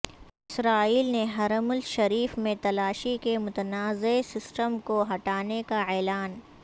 اسرائیل نے حرم الشریف میں تلاشی کے متنازع سسٹم کو ہٹانے کا اعلان